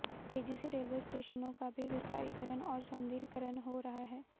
तेजी से रेलवे स्टेशनों का भी विस्तारीकरण और सौंदर्यीकरण हो रहा है